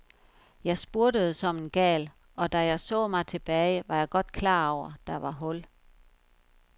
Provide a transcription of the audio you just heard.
Jeg spurtede som en gal, og da jeg så mig tilbage, var jeg godt klar over, der var hul.